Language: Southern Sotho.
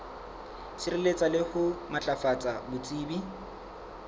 sireletsa le ho matlafatsa botsebi